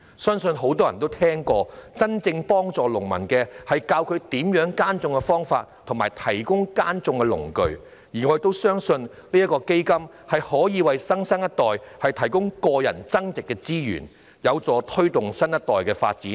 相信很多人都聽過，真正幫助農民的方法，是教授他們耕種的方法和提供耕種的農具，而我相信基金正正可以為新生代提供個人增值資源，扶助下一代的發展。